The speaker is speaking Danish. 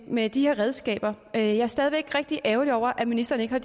med de her redskaber at jeg stadig væk er rigtig ærgerlig over at ministeren ikke har